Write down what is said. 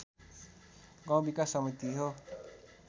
गाउँ विकास समिति हो